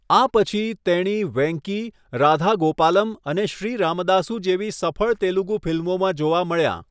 આ પછી, તેણી 'વેંકી', 'રાધા ગોપાલમ' અને 'શ્રી રામદાસુ' જેવી સફળ તેલુગુ ફિલ્મોમાં જોવા મળ્યાં.